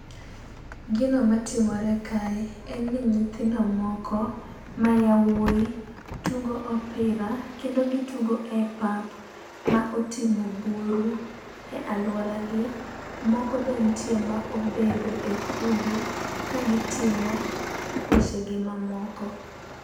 Gino matimore kae, en ni nyithindo moko ma yawuoyi tugo opira kendo gitugo e pap ma otimo buru e alworagi. Moko be nitie ma obedo e kundi ka gitimo wechegi mamoko.